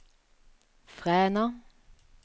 Fræna